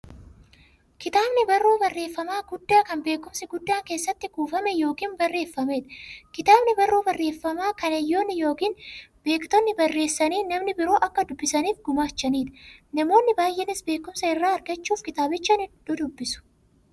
Kitaabni barruu barreeffamaa guddaa, kan beekumsi guddaan keessatti kuufame yookiin barreefameedha. Kitaabni barruu barreeffamaa, kan hayyoonni yookiin beektonni barreessanii, namni biroo akka dubbisaniif gumaachaniidha. Namoonni baay'eenis beekumsa irraa argachuuf kitaabicha ni dubbisu.